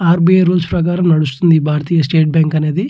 RBI rules ప్రకారం నడుస్తుంది ఈ భారతీయ స్టేట్ బ్యాంకు అనేది.